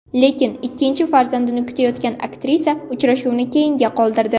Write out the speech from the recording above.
Lekin ikkinchi farzandini kutayotgan aktrisa uchrashuvni keyinga qoldirdi.